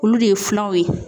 Olu de ye filanw ye.